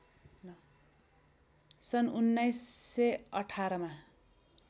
सन् १९१८ मा